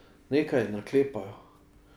Nekaj naklepajo.